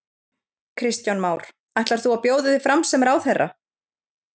Kristján Már: Ætlar þú að bjóða þig fram sem ráðherra?